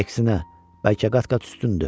Əksinə, bəlkə qat-qat üstündür.